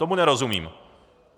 Tomu nerozumím.